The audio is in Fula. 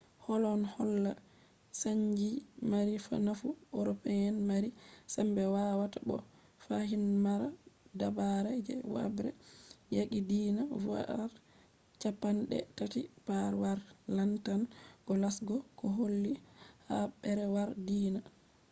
ɗon holla chanji mari nafu european mari sembe wawata bo fahin mara dabare je habre yaqi diina. duɓɓi cappanɗe tati’ haɓre yaqi lartan je qarshe je holli haɓre yaki diina